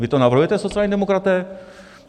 Vy to navrhujete, sociální demokraté?